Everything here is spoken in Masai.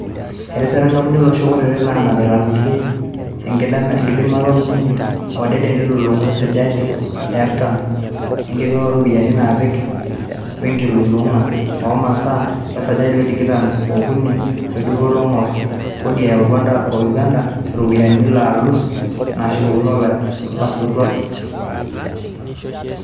Etisira nkampunini olosho kutiti naanapita ngulia enkidimata olbulunye odede neitululungu esajati e artam e nkilulunga oropiyiani naapiki wenkilulunga oo masaa wesajati e tikitam okuni e dupoto engor kodi eyau Rwanda o Uganda iropiyani laalus naashukokino ilaisotuak.